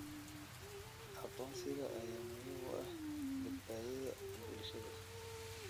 Aqoonsiga ayaa muhiim u ah badbaadada bulshada.